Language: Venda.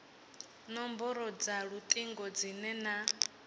nomboro dza lutingo dzine na